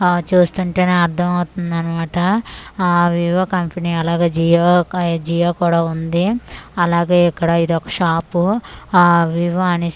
ఆ చూస్తుంటేనే అర్థం అవుతుంది అన్నమాట ఆ వివో కంపనీ అలాగే జియో క-- జియో కూడా ఉంది అలాగే ఇది ఒక షాపు ఆ వివో అనేసి.